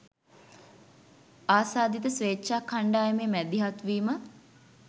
ආසාදිත ස්වේච්ඡා කණ්ඩායමේ මැදිහත්වීම